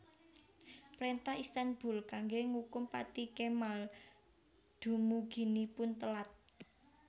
Préntah Istanbul kanggé ngukum pati Kemal dumuginipun telat